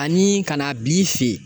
Ani ka na bi fe yen